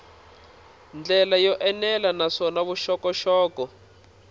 ndlela yo enela naswona vuxokoxoko